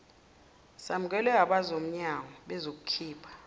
samukelwe abomnyango bazokhipha